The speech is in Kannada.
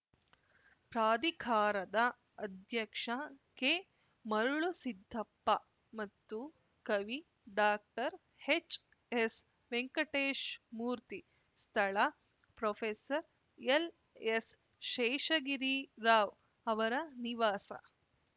ಪ್ರಾಧಿಕಾರದ ಅಧ್ಯಕ್ಷ ಕೆಮರಳುಸಿದ್ಧಪ್ಪ ಮತ್ತು ಕವಿ ಡಾಕ್ಟರ್ಹೆಚ್‌ಎಸ್‌ ವೆಂಕಟೇಶ್‌ಮೂರ್ತಿ ಸ್ಥಳಪ್ರೊಫೆಸರ್ಎಲ್‌ಎಸ್‌ಶೇಷಗಿರಿರಾವ್‌ ಅವರ ನಿವಾಸ